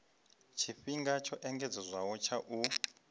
tshifhinga tsho engedzedzwaho tsha u